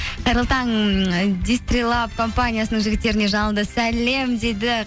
қайырлы таң компаниясының жігіттеріне жалынды сәлем дейді